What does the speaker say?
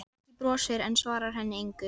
Beggi brosir, en svarar henni engu.